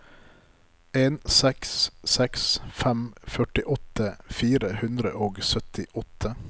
en seks seks fem førtiåtte fire hundre og syttiåtte